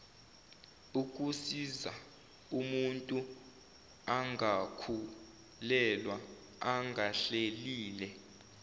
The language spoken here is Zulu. kusizaumuntu angakhulelwa engahlelile